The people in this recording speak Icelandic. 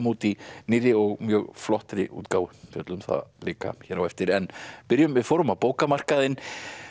út í nýrri og mjög flottri útgáfu fjöllum um það líka hér á eftir en byrjum við fórum á bókamarkaðinn